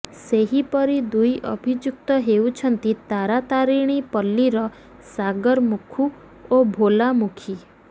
ସେହିପରି ଦୁଇ ଅଭିଯୁକ୍ତ ହେଉଛନ୍ତି ତାରାତାରେଣୀ ପଲ୍ଲୀର ସାଗର ମୁଖୁ ଓ ଭୋଳା ମୁଖି